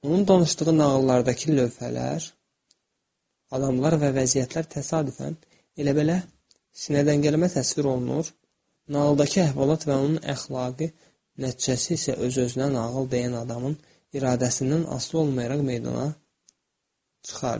Onun danışdığı nağıllardakı lövhələr, adamlar və vəziyyətlər təsadüfən elə-belə sinədən gəlmə təsvir olunur, nağıldakı əhvalat və onun əxlaqi nəticəsi isə öz-özünə nağıl deyən adamın iradəsindən asılı olmayaraq meydana çıxardı.